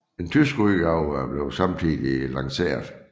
En tysk udgave blev samtidig lanceret